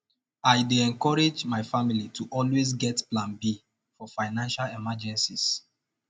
i dey encourage my family to always get plan b for financial emergencies